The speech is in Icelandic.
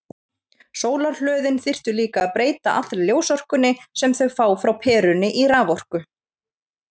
Sólarhlöðin þyrftu líka að breyta allri ljósorkunni sem þau fá frá perunni í raforku.